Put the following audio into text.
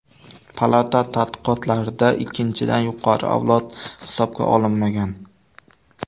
Palata tadqiqotlarida ikkinchidan yuqori avlod hisobga olinmagan.